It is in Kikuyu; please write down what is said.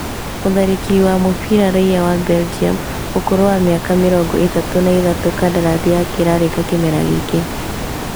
Mũtharĩkĩri wa mũbĩra Raiya wa Belgium ũkũrũ wa mĩaka mĩrongo ĩtatũ na ithatũ kandarathi yake ĩrarĩka kĩmera gĩkĩ